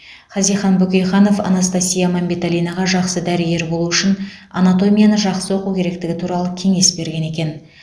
хазихан бөкейханов анастасия мәмбеталинаға жақсы дәрігер болу үшін анатомияны жақсы оқу керектігі туралы кеңес берген екен